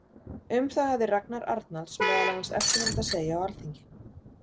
Um það hafði Ragnar Arnalds meðal annars eftirfarandi að segja á Alþingi